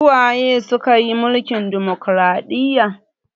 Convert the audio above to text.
Su waye suka yi mulkin ɗumukraɗiya?